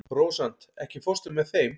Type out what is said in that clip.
Rósant, ekki fórstu með þeim?